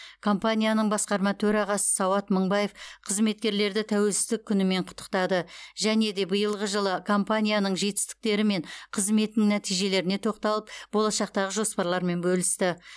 компанияның басқарма төрағасы сауат мыңбаев қызметкерлерді тәуелсіздік күнімен құттықтады және де биылғы жылы компанияның жетістіктері мен қызметінің нәтижелеріне тоқталып болашақтағы жоспарлармен бөлісті